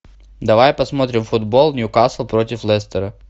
давай посмотрим футбол ньюкасл против лестера